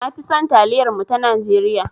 Na fi son taliyar mu ta Najeriya.